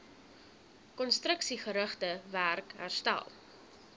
konstruksiegerigte werk herstel